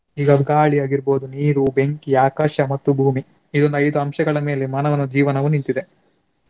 ಈಗ ಅದು ಗಾಳಿ ಆಗಿರ್ಬೋದು, ನೀರು, ಬೆಂಕಿ, ಆಕಾಶ ಮತ್ತು ಭೂಮಿ ಇದೊಂದು ಐದು ಅಂಶಗಳ ಮೇಲೆ ಮಾನವನ ಜೀವನವು ನಿಂತಿದೆ.